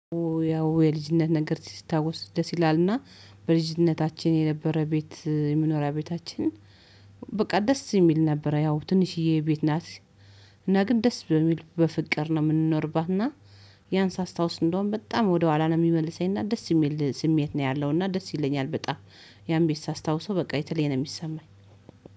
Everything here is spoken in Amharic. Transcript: ያው የልጅነት ነገር ሲታወስ ደስ ይላልና። በልጅነታችን የነበረ ቤት የመኖሪያ ቤታችን በቃ ደስ እሚል ነበረ ያው ትንሽዬ ቤት ናት። እና ግን ደስ በሚል በፍቅር ነው ምንኖርባት እና። ያን ሳስታውስ እንደውም በጣም ወደኋላ ነው ሚመልሰኝ እና ደስ እሚል ስሜት ነው ያለውና ደስ ይለኛል በጣም። ያን ቤት ሳስታውሰው በቃ የተለየ ነው ሚሰማኝ።